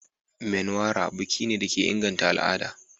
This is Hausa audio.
Menwara biki ne da ke inganta al'ada.